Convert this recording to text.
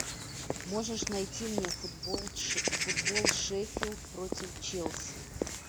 можешь найти мне футбол шеффилд против челси